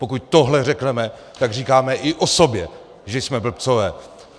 Pokud tohle řekneme, tak říkáme i o sobě, že jsme blbci.